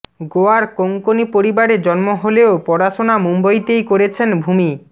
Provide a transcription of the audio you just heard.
গোয়ার কোঙ্কনি পরিবারে জন্ম হলেও পড়াশোনা মুম্বইতেই করেছেন ভূমি